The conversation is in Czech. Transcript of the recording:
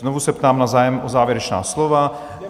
Znovu se ptám na zájem o závěrečná slova.